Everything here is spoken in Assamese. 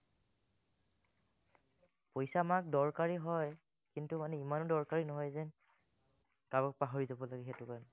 পইচা আমাক দৰকাৰী হয়, কিন্তু, মানে ইমানো দৰকাৰী নহয় যেন কাৰবাক পাহৰি যাব লাগে সেইটো কাৰণে